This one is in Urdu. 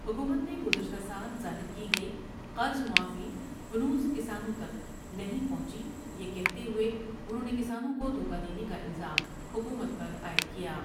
حکومت نے گذشتہ سال ظاہر کی گئی قرض معافی ہنوز کسانوں تک نہیں پہنچی یہ کہتے ہوۓ انہوں نے کسانوں کو دھوکہ دینے کا الزام حکومت پر عائد کیا ۔